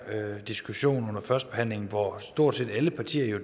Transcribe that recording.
diskussion under førstebehandlingen hvor stort set alle partier jo